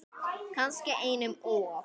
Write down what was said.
Kannski einum of.